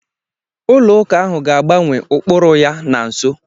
Ụlọ ụka ahụ ga-agbanwe ụkpụrụ ya na nso.